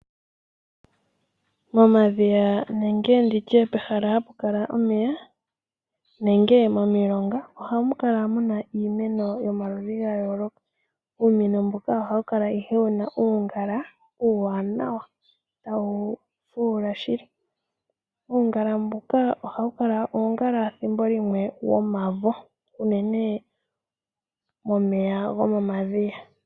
Momadhiya nenge pehala hapu kala omeya nenge momilonga ohamu kala muna iimeno yo maludhi ga yooloka. Iimeno mbino ohayi kala yina uungala uuwanawa tawu fuula shili. Uungala mbuka ethimbolimwe ohawu kala uungala womavo unene momeya gomomadhiya.